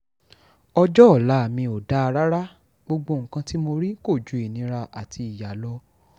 ọjọ́ ọ̀la mi ò dáa rárá gbogbo nǹkan tí mo rí kò ju ìnira àti ìyá lọ